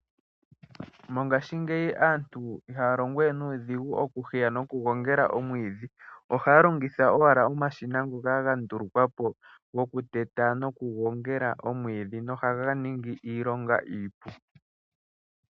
Mongashingeyi aantu ihaya longo we nuudhigu nokuheya nokugongela omwiidhi, ohaya longitha owala omashina ngoka ga ndulukwa po gokuteta nokugogela omwiidhi nohaga ningi iilonga iipu.